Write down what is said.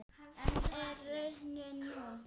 En er raunin sú?